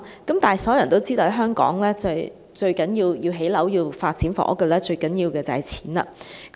然而，所有人也知道在香港要發展房屋，最重要的便是金錢。